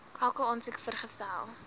elke aansoek vergesel